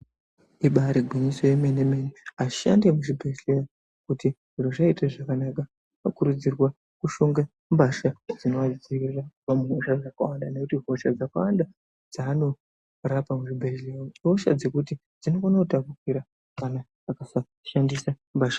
Ibaari gwinyiso remene mene, ashandi emuzvi bhadhlera kuti zviro zvaite zvakanaka okur udzirwe kushonge mbasha dzino adzivirira kubva muhosha dzakawanda ngekuti hosha dzakawanda dzaanorapa muzvi bhedhlera ihosha dzekuti dzino kone kutapukira kana aka saa shandisa mbasha.